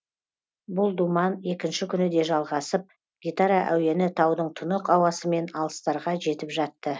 бұл думан екінші күні де жалғасып гитара әуені таудың тұнық ауасымен алыстарға жетіп жатты